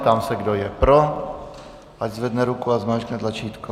Ptám se, kdo je pro, ať zvedne ruku a zmáčkne tlačítko.